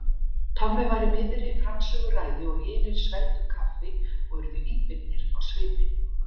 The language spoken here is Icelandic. Tommi var í miðri framsöguræðu og hinir svelgdu kaffi og urðu íbyggnir á svipinn.